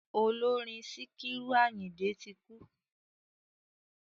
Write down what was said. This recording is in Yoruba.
Ọlọ́rin Síkírù Àyìndé ti kú.